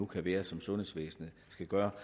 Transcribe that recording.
kan være sundhedsvæsenet skal gøre